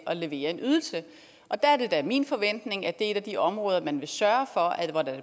at levere en ydelse der er det da min forventning at det er et af de områder hvor man vil sørge for at det